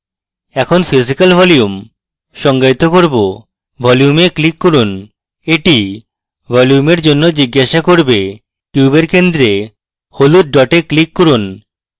এখন physical volume সংজ্ঞায়িত করব volume we click করুন এটি volume এর জন্য জিজ্ঞাসা cube কিউবের centre হলুদ ডটে click করুন